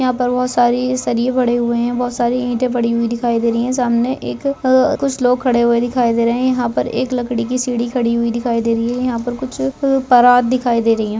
यहां पर बहुत सारे सरिया पड़े हुए हैं बहुत सारी ईंटें पड़ी हुई दिखाई दे रही हैं सामने एक कुछ लोग खड़े हुए दिखाई दे रहे हैं यहां पर एक लकड़ी की सीडी खड़ी हुई दिखाई दे रही है यहां पर कुछ परात दिखाई दे रही है।